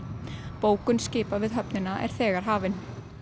bókun skipa við höfnina er þegar hafin